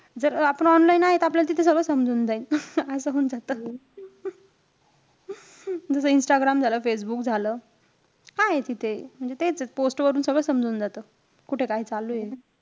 जर आपण online आहे, त आपल्याला तिथं सगळं समजून जाईल. असं होऊन जातं. जसं इंस्टाग्राम झालं, फेसबुक झालं. काये तिथे? म्हणजे तेच. ते post वरून सगळं समजून जातं. कुठे काय चालूय.